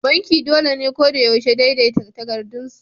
Banki dole ne ko da yaushe daidaita takardunsu.